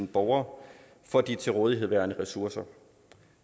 borgere for de til rådighed værende ressourcer